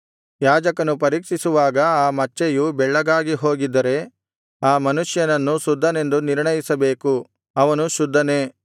ಯಾಜಕನು ಪರೀಕ್ಷಿಸುವಾಗ ಆ ಮಚ್ಚೆಯು ಬೆಳ್ಳಗಾಗಿಹೋಗಿದ್ದರೆ ಆ ಮನುಷ್ಯನನ್ನು ಶುದ್ಧನೆಂದು ನಿರ್ಣಯಿಸಬೇಕು ಅವನು ಶುದ್ಧನೇ